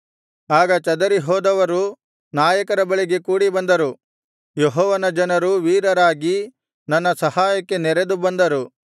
ಆಗ ಚದರಿಹೋದವರು ನಾಯಕರ ಬಳಿಗೆ ಕೂಡಿಬಂದರು ಯೆಹೋವನ ಜನರು ವೀರರಾಗಿ ನನ್ನ ಸಹಾಯಕ್ಕೆ ನೆರೆದು ಬಂದರು